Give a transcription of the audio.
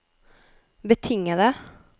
betingede